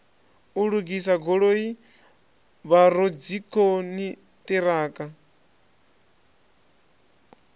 u lugisa goloi vhoradzikhon ṱiraka